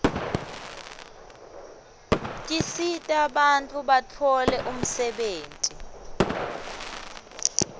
tisita bantfu batfole umsebenti